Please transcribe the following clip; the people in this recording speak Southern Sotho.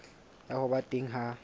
ya ho ba teng ha